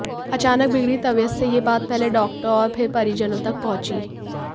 अचानक बिगड़ी तबीयत से यह बात पहले डॉक्टर और फिर परिजनों तक पहुंची